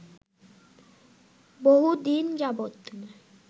বহুদিন যাবত